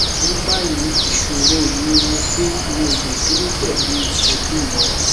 ní báyìí ìṣòro mi ni pé mi ò lè dúró pẹlú ẹbí mi